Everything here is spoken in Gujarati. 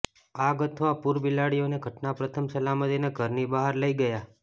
આગ અથવા પૂર બિલાડીઓને ઘટના પ્રથમ સલામતીને ઘરની બહાર લઈ ગયા